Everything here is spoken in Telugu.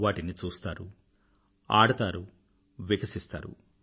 వాటిని చూస్తారు ఆడతారు వికసిస్తారు